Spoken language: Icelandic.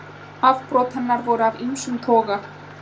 Afbrot hennar voru af ýmsum toga